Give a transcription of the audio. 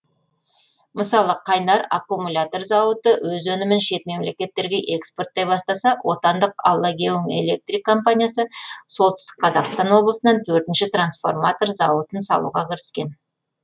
мысалы қайнар аккумулятор зауыты өз өнімін шет мемлекеттерге экспорттай бастаса отандық аллагеум электрик компаниясы солтүстік қазақстан облысынан төртінші трансформатор зауытын салуға кіріскен